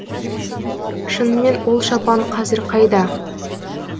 шынымен ол шапан қазір қайда